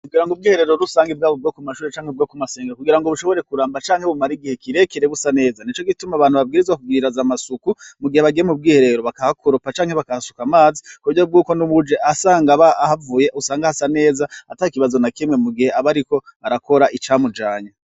Kugira ngo ubwiherero rusanga ibwaba bwo ku mashuri canke bwo ku masengero kugira ngo bushobore kuramba canke bumara igihe kirekere busa neza ni co gituma abantu babwirizwa kugwiraza amasuku mu gihe bagiyema ubwiherero bakahakuropa canke bakahasuka amazi ku burya bwuko n'ubuje asanga ba ahavuye usanga hasa neza ata ikibazo na kimwe mu gihe abe ariko arakora icamujanya.